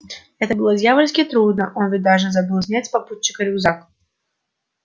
это было дьявольски трудно он ведь даже забыл снять с попутчика рюкзак